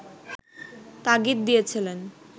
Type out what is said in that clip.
তাগিদ দিয়েছিলেন